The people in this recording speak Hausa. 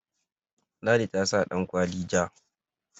ladi ta sa dankwali ja